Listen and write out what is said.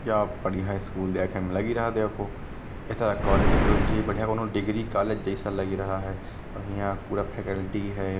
यह बढ़िया स्कुल देखने मे लगी रहा देखो। ऐसा कोलेज होना चाहिए बढ़िया कौनो डिग्री कोलेज जैसा लगी रहा है और यहाँ पूरा फेकल्टी है।